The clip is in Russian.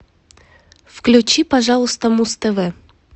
включи пожалуйста муз тв